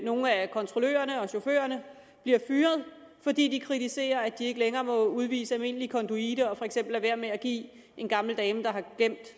nogle af kontrollørerne og chaufførerne bliver fyret fordi de kritiserer at de ikke længere må udvise almindelig konduite og for eksempel lade være med at give en gammel dame der har glemt